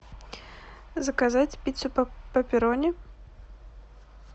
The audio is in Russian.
заказать пиццу пеперони